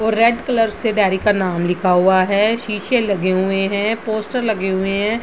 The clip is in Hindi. और रेड कलर से डेरी का नाम लिखा हुआ है सीसे लगे हुए हैं पोस्टर लगे हुए हैं।